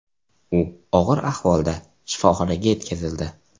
U og‘ir ahvolda shifoxonaga yetkazildi.